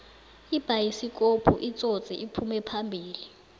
ibayisikopu itsotsi iphume phambili